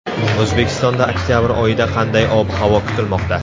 O‘zbekistonda oktabr oyida qanday ob-havo kutilmoqda?